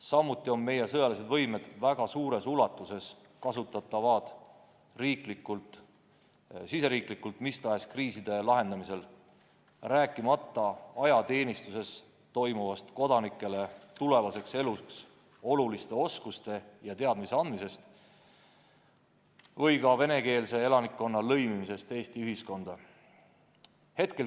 Samuti on meie sõjalised võimed väga suures ulatuses kasutatavad riigisiseselt mis tahes kriiside lahendamisel, rääkimata sellest, et ajateenistuses antakse noortele tulevaseks eluks vajalikke oskusi ja teadmisi ning seal toimub ka venekeelsete kodanike lõimimine Eesti ühiskonda.